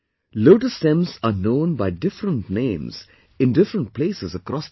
Lotus stems are known by different names in different places across the country